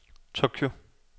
Tokyo